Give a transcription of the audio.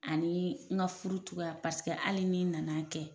Ani n ka furu cogoya paseke hali ni n na na kɛ.